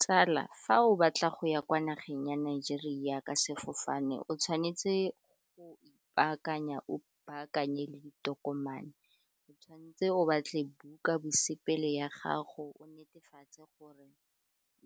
Tsala fa o batla go ya kwa nageng ya Nigeria ka sefofane, o tshwanetse go ipaakanya o baakanye le ditokomane, o tshwan'tse o batle buka bosepele ya gago o netefatse gore